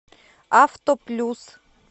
авто плюс